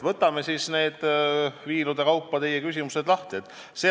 Võtame siis viilude kaupa teie küsimuse lahti.